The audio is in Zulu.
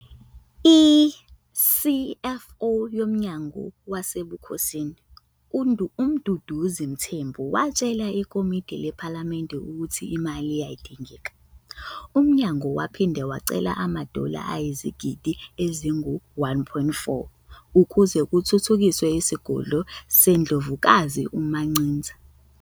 I-CFO yomnyango wasebukhosini, uMduduzi Mthembu, watshela ikomiti lephalamende ukuthi imali yayidingeka. Umnyango waphinde wacela ama-dollar ayizigidi ezingu-1.4 ukuze kuthuthukiswe isigodlo seNdlovukazi uMaMchiza.